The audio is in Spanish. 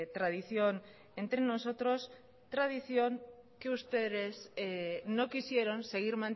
tradición entre nosotros tradición que ustedes no quisieron seguir